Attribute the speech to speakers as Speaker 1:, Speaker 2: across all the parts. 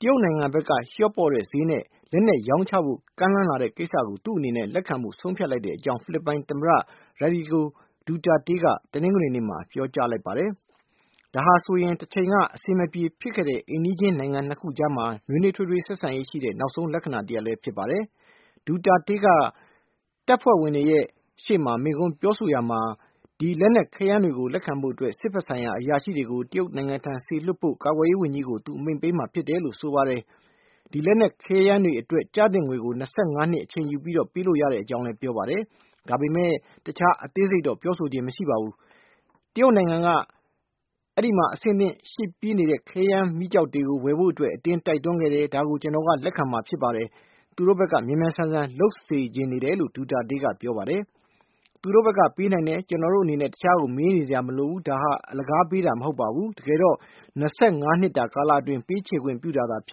Speaker 1: တရုတ်နိုင်ငံဘက်က လျှော့ပေါ့တဲ့ဈေးနဲ့ လက်နက်ရောင်းချဖို့ ကမ်းလှမ်းလာတဲ့ ကိစ္စကို သူ့အနေနဲ့ လက်ခံဖို့ ဆုံးဖြတ်လိုက်ကြောင်း ဖိလစ်ပိုင် သမ္မတ Rodrigo Duterte က တနင်္ဂနွေနေ့မှာ ပြောကြားလိုက်ပါတယ်။ ဒါဟာဆိုရင် တချိန်က ရန်ဘက်ဖြစ်ခဲ့တဲ့ အိမ်နီးချင်း နှစ်နိုင်ငံအကြား နွေးနွေးထွေးထွေး ဆက်ဆံရေးရှိတဲ့ နောက်ဆုံး လက္ခဏာတရပ်လည်း ဖြစ်ပါတယ်။ Duterte က တပ်ဖွဲ့ဝင်တွေရဲ့ရှေ့မိန့်ခွန်းပြောကြားရာမှာ ဒီလက်နက်ခဲယမ်းတွေကို လက်ခံဖို့အတွက် စစ်ဘက်ဆိုင်ရာအရာရှိတွေကို တရုတ်နိုင်ငံထံစေလွှတ်ဖို့ ကာကွယ်ရေးဝန်ကြီးကို သူအမိန့်ပေးမှာ ဖြစ်တယ်လို့ ပြောဆိုပါတယ်။ ဒီလက်နက်ခဲယမ်းတွေအတွက် ကျသင့်ငွေကို ၂၅ နှစ် အချိန်ယူပြီး ပေးလို့ရတဲ့အကြောင်း ပြောပါတယ်။ ဒါပေမယ့် တခြားအသေးစိတ်တော့ ပြောဆိုခြင်းမရှိပါဘူး။ တရုတ်နိုင်ငံက အဲဒီမှာ အဆင်သင့် ရှိနေပြီးဖြစ်တဲ့ လက်နက်ခဲယမ်းတွေ ဝယ်ဖို့ ကျနော့်ကို ဖိအားပေးတိုက်တွန်းခဲ့တယ်။ ဒါကို ကျနော်က လက်ခံမှာဖြစ်တယ်။ သူတို့ဘက်က မြန်မြန်ဆန်ဆန် လုပ်စေချင်တယ်လို့ Duterte ကပြောပါတယ်။ သူတို့ဘက်က ပေးနိုင်တယ်။ ကျနော်တို့အနေနဲ့ တခြားကို မေးနေစရာမလိုပါဘူး။ ဒါဟာ အလကားပေးတာမဟုတ်ပါဘူး။ တကယ်တော့ ၂၅ နှစ်တာ ကာလအတွင်း ပေးချေခွင့် ပြုတာဖြ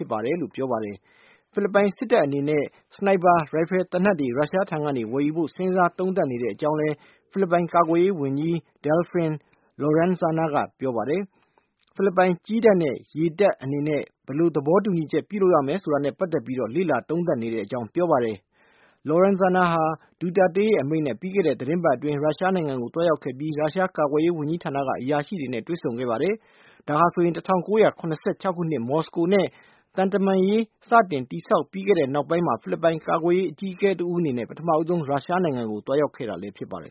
Speaker 1: စ်ပါတယ်။ ဖိလစ်ပိုင် စစ်တပ်အနေနဲ့ ချောင်းမြောင်း ပစ်ခတ်တဲ့ ရိုင်ဖယ်သေနတ်တွေ ရုရှားထံကနေ ဝယ်ယူဖို့ စဉ်းစားသုံးသပ်နေကြောင်း ဖိလစ်ပိုင် ကာကွယ်ရေးဝန်ကြီး Delfin Lorenzana က ပြောပါတယ်။ ဖိလစ်ပိုင် ကြည်းတပ်နဲ့ ရေတပ်အနေနဲ့ ဘယ်လိုသဘောတူညီချက် ပြုလုပ်ရမယ် ဆိုတာနဲ့ ပတ်သက်ပြီး လေ့လာသုံးသပ်နေကြောင်းပြောပါတယ်။ Lorenzana ဟာ Duterte ရဲ့ အမိန့်နဲ့ ပြီးခဲ့တဲ့ သတင်းပတ်အတွင်း ရုရှားနိုင်ငံကို သွားရောက်ခဲ့ပြီး ရုရှားကာကွယ်ရေးဝန်ကြီးဌာ အရာရှိတွေနဲ့ တွေ့ဆုံခဲ့ပါတယ်။ ဒါဟာ ၁၉၇၆ ခုနှစ် မော်စကိုနဲ့ သံတမန်ရေးစတင် တည်ဆောက် ခဲ့ပြီးနောက်ပိုင်း ဖိလစ်ပိုင် ကာကွယ်ရေး အကြီးအကဲတဦး အနေနဲ့ ပထမဦးဆုံး ရုရှားနိုင်ငံကို သွားရောက်တာ ဖြစ်ပါတယ်